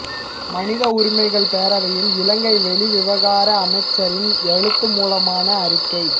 மனித உரிமைகள் பேரவையில் இலங்கை வெளிவிவகார அமைச்சரின் எழுத்து மூலமான அறிக்கை